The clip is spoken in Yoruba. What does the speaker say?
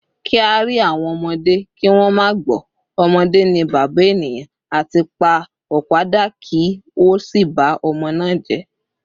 “Ki a ri awon omode ki won ma gbo,” “Omode ni baba eniyan,” ati “Pa opa da ki o si ba omo naa je.